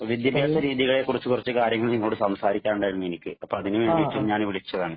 വിദ്യാഭ്യാസരീതികളെ കുറിച്ച് കൊറച്ചു കാര്യങ്ങള്‍ നിങ്ങളോട് സംസാരിക്കാനുണ്ടായിരുന്നു എനിക്ക്. അപ്പൊ അതിനു വേണ്ടീട്ടു ഞാന് വിളിച്ചതാണ്.